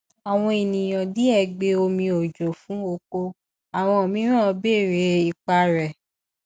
àwọn ènìyàn díẹ gbe omi òjò fún oko àwọn mìíràn béèrè ipa rẹ